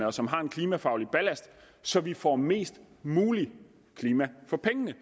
og som har en klimafaglig ballast så vi får mest muligt klima for pengene